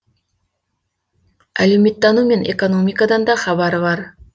әлеуметтану мен экономикадан да хабары бар